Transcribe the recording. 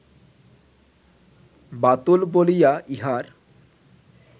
বাতুল বলিয়া ইহার